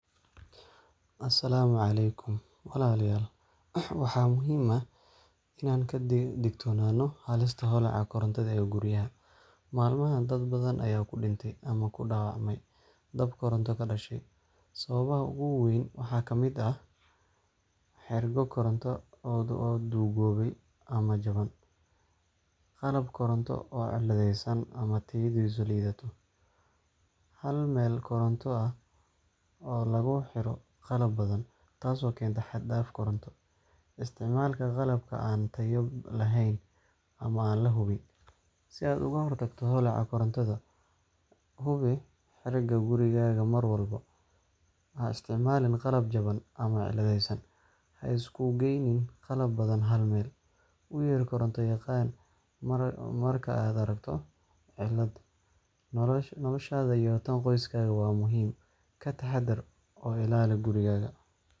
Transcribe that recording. Asalaamu Aleykum walal yal waxa muhim aah inan kadigtonana halista holaca korantada ee guriyaha malmahan dad badan aya kudintay ama kudawacmay dab koronta kadashay. Sababaha ugu weyn waxa kamid aah xergo Koronto o dugobay ama jaban qalab Koronto o cilideysan ama tayadiisu lidata hal meel Koronta o lagu xera qalab badan tas waxay kenta xad daf Koronto, isticmalka qalabka antayo laheen ama lahubin si ad ugu hortagto holaca korantada hubi xerega gurigaga marwalba. Haisticmalin qalab jaban ama cildeeysan ha iskugeynin qalab badan hal meel, uu yeer Koronto yaqan marka ad aragto cilad nolasha yo tan qoysakaga wa muhim kataxadar o ilaali gurigaga